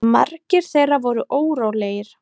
Margir þeirra voru órólegir.